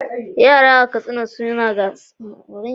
Yara a Katsina sun shiga gasar wakokin gargajiya a lokutan bukukuwa.